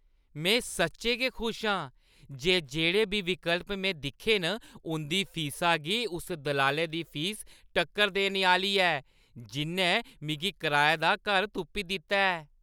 में सच्चैं खुश आं जे जेह्‌ड़े बी विकल्प में दिक्खे न उं'दी फीसा गी उस दलालै दी फीस टक्कर देने आह्‌ली ऐ जि'न्नै मिगी कराए दा घर तुप्पी दित्ता ऐ।